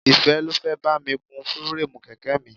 Ìfẹ́ ló fẹ́ bá mi kun fireemu kèké mi.